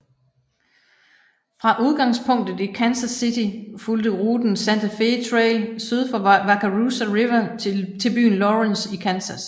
Fra udgangspunktet i Kansas City fulgte ruten Santa Fe Trail syd for Wakarusa River til byen Lawrence i Kansas